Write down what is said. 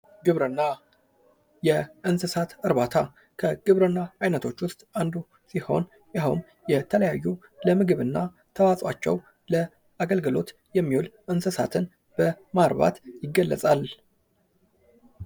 ግብርና፦ የእንስሳት እርባታ፦ ከግብርና አይነቶች ውስጥ አንዱ ሲሆን ይኸውም የተለያዩ ለምግብና ተዋጿቸው ለአገልግሎት የሚውል እንስሳትን በማርባት ይታወቃል።